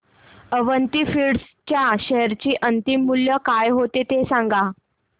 Avanti feeds च्या share चे अंतिम मूल्य काय होते ते सांगा